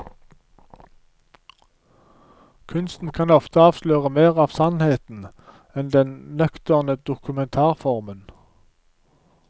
Kunsten kan ofte avsløre mer av sannheten enn den nøkterne dokumentarformen.